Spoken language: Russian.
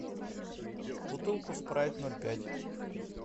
бутылку спрайт ноль пять